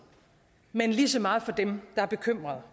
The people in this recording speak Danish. men lige så meget for dem der er bekymrede